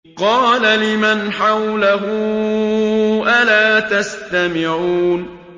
قَالَ لِمَنْ حَوْلَهُ أَلَا تَسْتَمِعُونَ